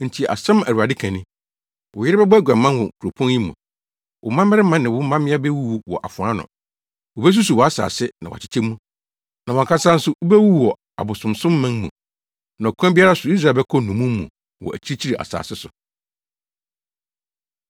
“Enti asɛm a Awurade ka ni: “ ‘Wo yere bɛbɔ aguaman wɔ kuropɔn yi mu, wo mmabarima ne wo mmabea bewuwu wɔ afoa ano. Wobesusuw wʼasase na wakyekyɛ mu, na wʼankasa nso, wubewu wɔ abosonsomman mu, na ɔkwan biara so Israel bɛkɔ nnommum mu, wɔ akyirikyiri asase so.’ ”